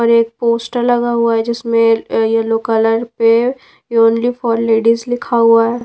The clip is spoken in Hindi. और एक पोस्टर लगा हुआ है जिसमें येलो कलर पे ओनली फॉर लेडीज लिखा हुआ है।